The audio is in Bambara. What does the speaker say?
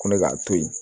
Ko ne k'a to yen